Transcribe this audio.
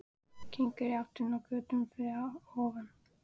Gengur í áttina að götunni fyrir ofan.